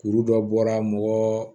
Kuru dɔ bɔra mɔgɔ